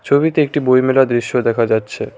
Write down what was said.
ছবিতে একটি বইমেলার দৃশ্য দেখা যাচ্ছে।